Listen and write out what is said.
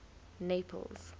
naples